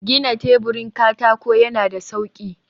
gina teburin katako yana da sauƙi.